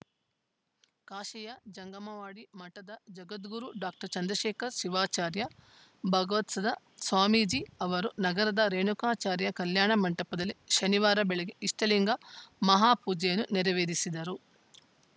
ಕಾಶಿಯ ಜಂಗಮವಾಡಿ ಮಠದ ಜಗದ್ಗುರು ಡಾಕ್ಟರ್ ಚಂದ್ರಶೇಖರ ಶಿವಾಚಾರ್ಯ ಭಗವತ್ಪಾದ ಸ್ವಾಮೀಜಿ ಅವರು ನಗರದ ರೇಣುಕಾಚಾರ್ಯ ಕಲ್ಯಾಣ ಮಂಟಪದಲ್ಲಿ ಶನಿವಾರ ಬೆಳಗ್ಗೆ ಇಷ್ಟಲಿಂಗ ಮಹಾಪೂಜೆಯನ್ನು ನೆರವೇರಿಸಿದರು